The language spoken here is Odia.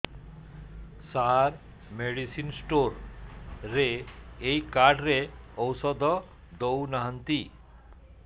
ସାର ମେଡିସିନ ସ୍ଟୋର ରେ ଏଇ କାର୍ଡ ରେ ଔଷଧ ଦଉନାହାନ୍ତି